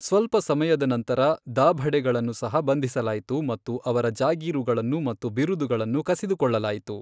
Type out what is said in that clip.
ಸ್ವಲ್ಪ ಸಮಯದ ನಂತರ, ದಾಭಡೆಗಳನ್ನು ಸಹ ಬಂಧಿಸಲಾಯಿತು ಮತ್ತು ಅವರ ಜಾಗೀರುಗಳು ಮತ್ತು ಬಿರುದುಗಳನ್ನು ಕಸಿದುಕೊಳ್ಳಲಾಯಿತು.